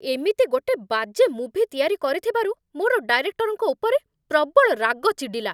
ଏମିତି ଗୋଟେ ବାଜେ ମୁଭି ତିଆରି କରିଥିବାରୁ ମୋର ଡାଇରେକ୍ଟରଙ୍କ ଉପରେ ପ୍ରବଳ ରାଗ ଚିଡ଼ିଲା ।